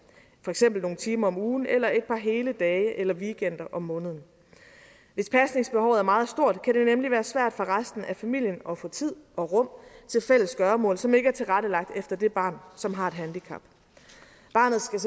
for eksempel nogle timer om ugen eller et par hele dage eller weekender om måneden hvis pasningsbehovet er meget stort kan det nemlig være svært for resten af familien at få tid og rum til fælles gøremål som ikke er tilrettelagt efter det barn som har et handicap barnet skal